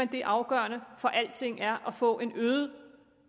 det afgørende for alting er at få en øget